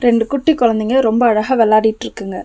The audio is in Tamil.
ரெண்டு குட்டி கொழந்தைங்க ரொம்ப அழகா வெளாடிட்ருக்குங்க.